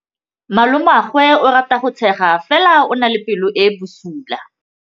Malomagwe o rata go tshega fela o na le pelo e e bosula.